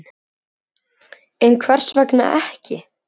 Og svo voru það lömbin.